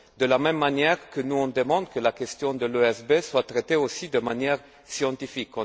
De la même manière que nous demandons que la question de l'ESB soit traitée aussi de manière scientifique.